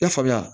I y'a faamuya